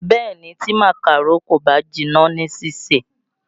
Bẹ̀ẹ́ni, tí màkàró kò bá jiná ní sísè.